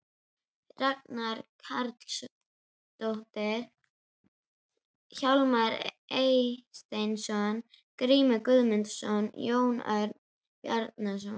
Ragna Karlsdóttir, Hjálmar Eysteinsson, Ásgrímur Guðmundsson, Jón Örn Bjarnason